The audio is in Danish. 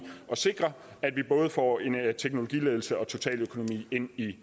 at sikre at vi både får teknologiledelse og totaløkonomi ind i